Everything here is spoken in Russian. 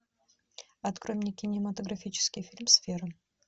открой мне кинематографический фильм сфера